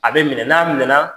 A bɛ minɛ n'a minɛ